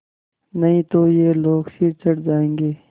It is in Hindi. नहीं तो ये लोग सिर चढ़ जाऐंगे